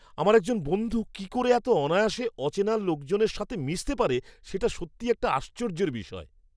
আমার একজন বন্ধু কি করে এত অনায়াসে অচেনা লোকজনের মিশতে পারে, সেটা সত্যিই একটা আশ্চর্যের বিষয়।